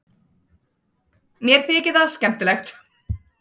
Mér þykir það skemmtilegt.